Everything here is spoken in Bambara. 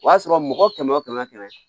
O y'a sɔrɔ mɔgɔ kɛmɛ o kɛmɛ